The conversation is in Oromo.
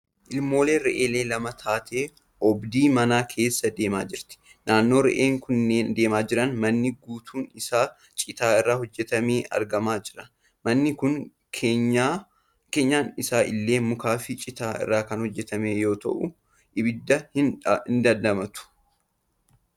Ilmoon re'ee lama taatee obdii manaa keessa deemaa jirti. Naannoo re'een kunneen deemaa jiran manni guutuun isaa citaa irraa hojjetame argamaa jira. Manni kun keenyan isaa illee mukaa fi citaa irraa kan hojjetame yoo ta'u ibidda hin dandamatu.